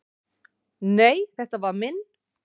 """Nei, þetta var minn"""